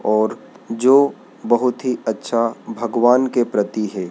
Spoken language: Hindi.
और जो बहुत ही अच्छा भगवान के प्रति है।